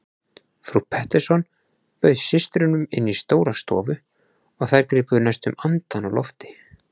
Frú Pettersson bauð systrunum inn í stóra stofu og þær gripu næstum andann á lofti.